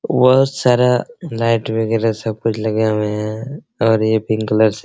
बहुत सारा लाइट वगैरह सब कुछ लगे हुए है और यह पिंक कलर से --